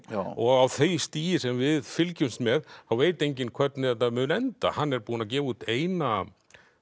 og á því stigi sem við fylgjumst með þá veit enginn hvernig þetta mun enda hann er búinn að gefa út eina